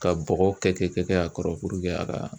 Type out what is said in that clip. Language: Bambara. Ka bɔgɔ kɛ kɛ kɛ kɛ a kɔrɔ puruke a ka